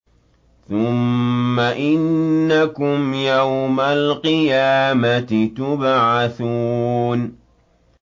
ثُمَّ إِنَّكُمْ يَوْمَ الْقِيَامَةِ تُبْعَثُونَ